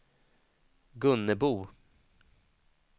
Gunnebo